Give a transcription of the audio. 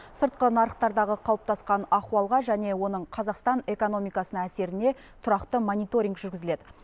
сыртқы нарықтардағы қалыптасқан ахуалға және оның қазақстан экономикасына әсеріне тұрақты мониторинг жүргізіледі